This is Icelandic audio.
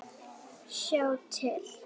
Sjá til